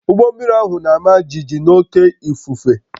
Ụgbọ mmiri ahụ na-ama jijiji n'oké ifufe